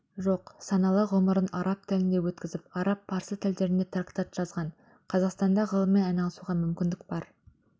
жоқ саналы ғұмырын араб елінде өткізіп араб парсы тілдерінде трактат жазған қазақстанда ғылыммен айналысуға мүмкіндік бар